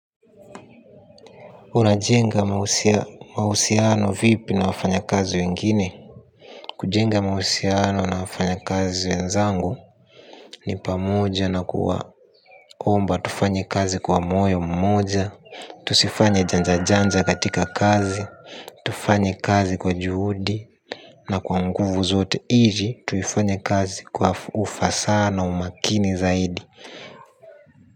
Una jenga mahusiano vipi na wafanya kazi wengine? Kujenga mahusiano na wafanya kazi wenzangu ni pamoja na kuwa omba tufanye kazi kwa moyo mmoja. Tusifanye janja janja katika kazi, tufanye kazi kwa juhudi. Na kwa nguvu zote ili tuifanye kazi kwa ufasaha na umakini zaidi.